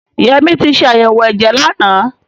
Yẹmí ti ṣe àyẹ̀wò ẹ̀jẹ̀ lánàá.